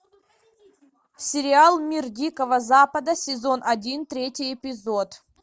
сериал мир дикого запада сезон один третий эпизод